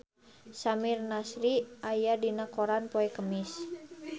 Samir Nasri aya dina koran poe Kemis